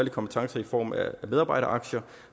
kompetencer med medarbejderaktier